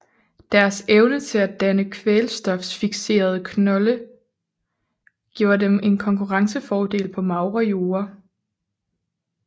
Deres evne til at danne kvælstoffiksrende knolde giver dem en konkurrencefordel på magre jorde